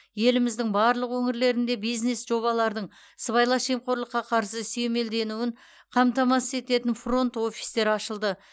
еліміздің барлық өңірлерінде бизнес жобалардың сыбайлас жемқорлыққа қарсы сүйемелденуін қамтамасыз ететін фронт офистер ашылды